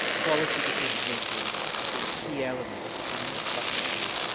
quality decision making is a key element which we must not miss.